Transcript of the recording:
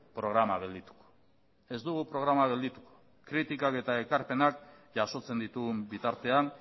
programa gelditu ez programa gelditu kritikak eta ekarpenak jasotzen ditugun bitartean